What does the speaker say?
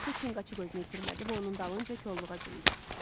Təkcə Çinqaçuq özünü itirmədi və onun dalınca kolluğa cumdu.